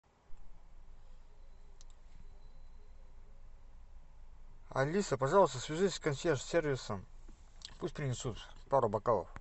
алиса пожалуйста свяжись с консьерж сервисом пусть принесут пару бокалов